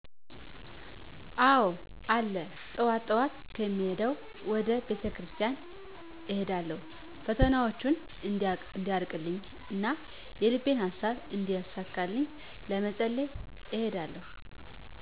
አዎ አለ ጠዋት ጠዋት የምሄደዉ ወደ ቤተክርስቲያን እሄዳለሁ ፈተናዎቸን እንዲያርቅልኝ እና የልቤን ሃሳብ እንዲያሳካልኝ ለመፀለይ እሄዳለሁ